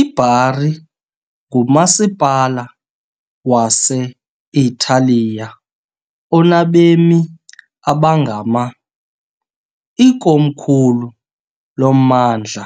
IBari ngumasipala wase-Italiya onabemi abangama , ikomkhulu lommandla